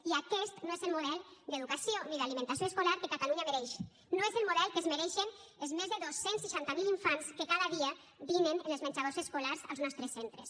i aquest no és el model d’educació ni d’alimentació escolar que catalunya mereix no és el model que es mereixen els més de dos cents i seixanta miler infants que cada dia dinen en els menjadors escolars als nostres centres